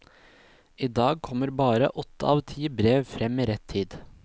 I dag kommer bare åtte av ti brev frem i rett tid.